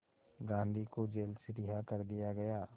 गांधी को जेल से रिहा कर दिया गया